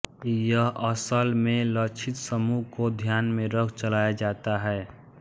यह असल में लक्षितसमुह को ध्यान में रख चलाया जाता है